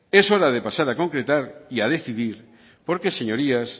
es hora de pasar a concretar y decidir porque señorías